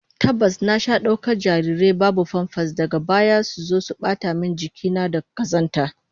Tabbas, na sha daukar jarirai babu famfas, daga baya suzo su bata min jiki na da kazanta